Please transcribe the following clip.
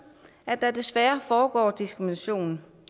at der desværre foregår diskrimination